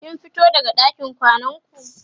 kin fito daga ɗakin kwanan ku?